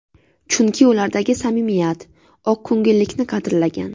Chunki ulardagi samimiyat, oqko‘ngillikni qadrlagan.